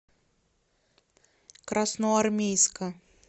красноармейска